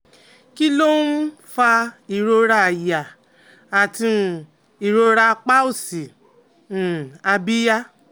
Kí um ló ń fa ìrora àyà àti um ìrora apá òsì um abíyá?